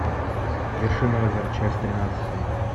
вершина озера часть тринадцатая